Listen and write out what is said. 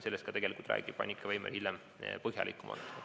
Sellest räägib Annika Veimer hiljem põhjalikumalt.